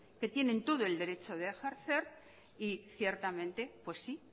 que tienen todo el derecho de ejercer y ciertamente pues sí